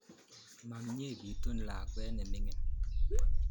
Ma mye ketun lakwet ne mining'